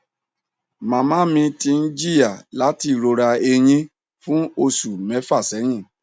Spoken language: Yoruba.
mama mi ti n jiya lati irora ẹyìn fún osu mẹfa sẹyìn